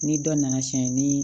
Ni dɔ nana cɛn ni